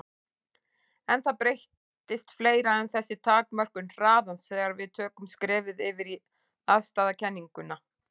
En það breytist fleira en þessi takmörkun hraðans þegar við tökum skrefið yfir í afstæðiskenninguna.